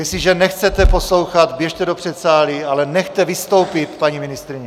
Jestliže nechcete poslouchat, běžte do předsálí, ale nechte vystoupit paní ministryni.